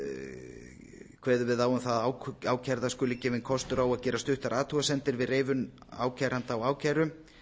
við á um það að ákærða skuli gefinn kostur á að gera stuttar athugasemdir við reifun ákæranda á ákæru